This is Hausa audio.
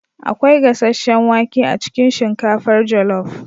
akwai gasasshen wake a cikin shinkafar jollof